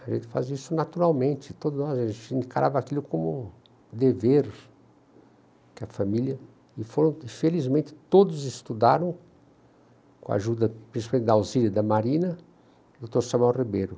A gente fazia isso naturalmente, todos nós, a gente encarava aquilo como um dever, que a família, e foram, felizmente, todos estudaram, com a ajuda, principalmente da auxílio da Marina, o doutor Samuel Ribeiro.